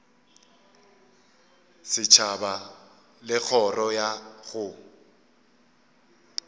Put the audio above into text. setšhaba le kgoro ya go